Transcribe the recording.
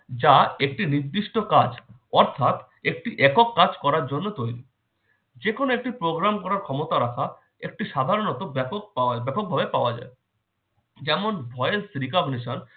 যা একটি নির্দিষ্ট কাজ অর্থাৎ একটি একক কাজ করার জন্য তৈরী। যেকোনো একটি programme করার ক্ষমতা রাখা একটি সাধারণত ব্যাপক পাও~ ব্যাপকভাবে পাওয়া যায়। যেমন- voice recognition